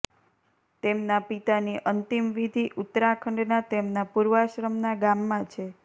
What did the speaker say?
તેમના પિતાની અંતિમ વિધિ ઉત્તરાખંડના તેમના પૂર્વાશ્રમના ગામમાં છે